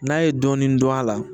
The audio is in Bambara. N'a ye dɔɔnin dɔn a la